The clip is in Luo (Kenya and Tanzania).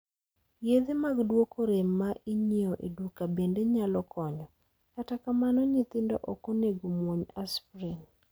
Yedhe mag duoko rem ma inyiewo e duka bende nyalo konyo, kata kamano nyithindo ok onego muony aspirin.